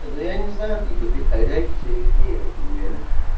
ну я не знаю как бы ты хозяйка тебе виднее деле